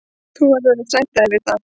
Þú verður að sætta þig við það.